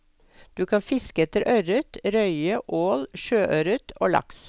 Du kan fiske etter ørret, røye, ål sjøørret og laks.